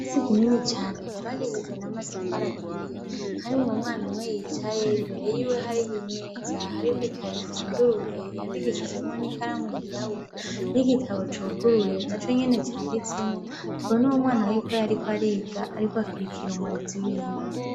Si kinini cane cobakishijwe na matafaraturiye harimwe umwana umwe yicaye imbere yiwe hariho imeza hariko ikayifunduruye yandikishijemwo n'ikaramu yirabura n'igitabo cuguruye na co nyene canditsemwo tubone uwo mwana w'uko yariko ariga, ariko akirikira umurezi wiwe.